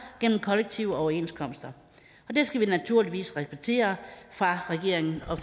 gennem kollektive overenskomster og det skal vi naturligvis respektere fra regeringen og